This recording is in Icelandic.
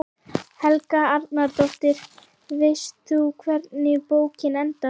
Helga Arnardóttir: Veist þú hvernig bókin endar?